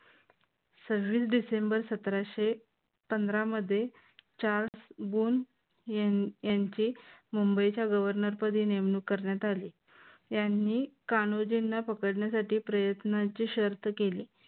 सव्वीस डिसेंबर सतराशे पंधरा मध्ये चार्ल्स बून यांची मुंबईच्या गव्हर्नर पदी नेमणूक करण्यात आली. यांनी कान्होजींना पकडण्यासाठी प्रयत्नांची शर्त केली.